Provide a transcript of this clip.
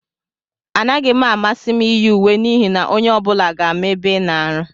Anaghị m amasị m iyi uwe n'ihi na onye ọ bụla ga-ama ebe ị na-arụ ọrụ.